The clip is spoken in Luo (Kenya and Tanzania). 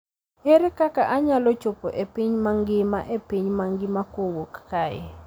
Ere kaka anyalo chopo e piny mangima e piny mangima kowuok kae